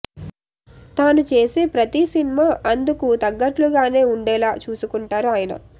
తానూ చేసే ప్రతిస్ ఇనిమ అందుకు తగ్గట్లుగానే ఉండేలా చూసుకుంటారు అయన